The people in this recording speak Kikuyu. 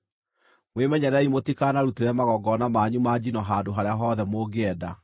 Mwĩmenyererei mũtikanarutĩre magongona manyu ma njino handũ harĩa hothe mũngĩenda.